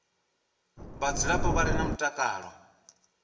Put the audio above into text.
vhadzulapo vha re na mutakalo